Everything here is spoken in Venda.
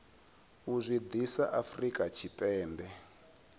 u zwi ḓisa afrika tshipembe